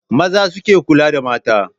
Maza suke kula da mata.